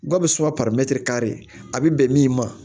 Gawusu ka a bɛ bɛn min ma